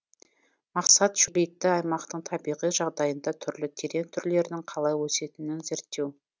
мақсат шөлейтті аймақтың табиғи жағдайында түрлі терек түрлерінің қалай өсетінін зерттеу